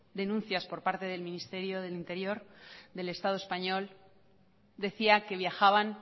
denuncias por parte del ministerio del interior del estado español decía que viajaban